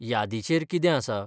य़ादीचेर कितें आसा?